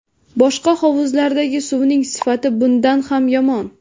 Boshqa hovuzlardagi suvning sifati bundan ham yomon.